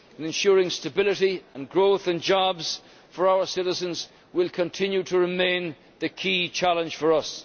Ensuring stability and growth and jobs for our citizens will continue to remain the key challenge for us.